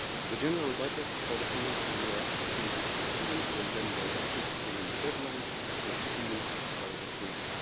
The general budget for the financial year 2018 will then be adopted within the deadline foreseen by the Treaty.